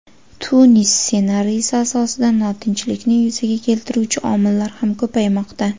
Tunis ssenariysi asosida notinchlikni yuzaga keltiruvchi omillar ham ko‘paymoqda.